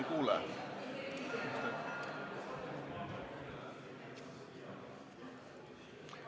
Ei kuule!